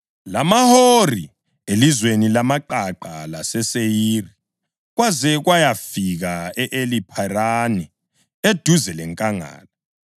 lamaHori elizweni lamaqaqa laseSeyiri, kwaze kwayafika e-Eli Pharani eduze lenkangala.